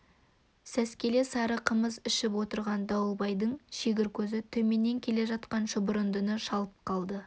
сәскелік сары қымыз ішіп отырған дауылбайдың шегір көзі төменнен келе жатқан шұбырындыны шалып қалды